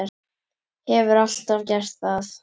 Hefur alltaf gert það.